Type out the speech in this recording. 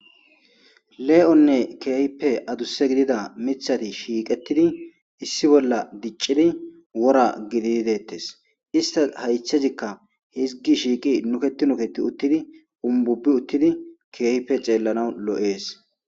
Le'onne kehipe aduse gidida mithati shiiqetidi issi bolla dicidi wora gididi detese istasa haythezikka hizgi shiiqi nuketi nuketi utidi ububi utidi kehipe xelanaw lo'es